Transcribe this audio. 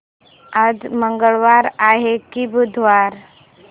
आज मंगळवार आहे की बुधवार